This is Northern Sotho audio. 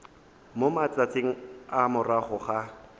mo matšatšing a morago ga